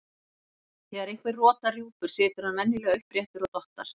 Þegar einhver rotar rjúpur situr hann venjulega uppréttur og dottar.